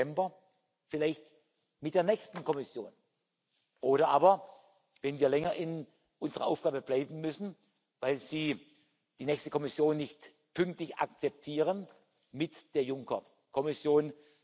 18. November vielleicht mit der nächsten Kommission, oder aber, wenn wir länger in unseren Aufgaben bleiben müssen, weil Sie die nächste Kommission nicht pünktlich akzeptieren, mit der Juncker Kommission.